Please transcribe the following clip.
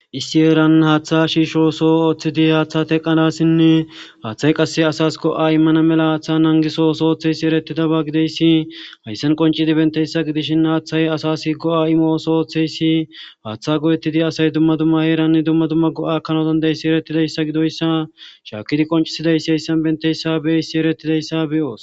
issi eeran haaththa shiisho so ooththidi haaththa teqqadassinne haaththay qasse asas go7a immana mela haaththa nangisooso oththeysi eretidaba gideyssi hayssen qoncidi benteyssa gidishin haaththay asas hi go7a imooso ooththeyssi haaththa go7ettidi asay dumma dumma heeranni dumma dumma go7akanodandeyssi erettideyssa gidoyssa shaakidi qoncisidayssi hayssan benteyssa bee issi erettidayssa beyoos